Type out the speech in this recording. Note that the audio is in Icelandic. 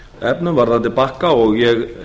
efnum varðandi bakka og ég